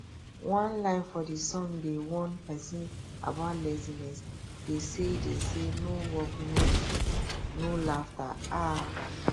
one line for the song dey warn persin about lazinesse dey say dey say no work no soup no laughter um